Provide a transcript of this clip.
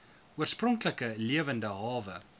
oorspronklike lewende hawe